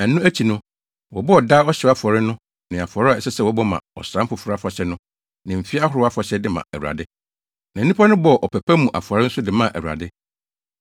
Ɛno akyi no, wɔbɔɔ daa ɔhyew afɔre no ne afɔre a ɛsɛ sɛ wɔbɔ ma Ɔsram Foforo Afahyɛ no ne mfe ahorow afahyɛ de maa Awurade. Na nnipa no bɔɔ ɔpɛ pa mu afɔre nso de maa Awurade.